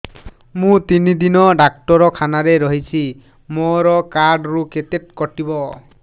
ମୁଁ ତିନି ଦିନ ଡାକ୍ତର ଖାନାରେ ରହିଛି ମୋର କାର୍ଡ ରୁ କେତେ କଟିବ